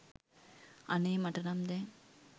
අනේ මට නම් දැන්